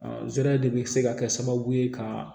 zɛrɛ de be se ka kɛ sababu ye ka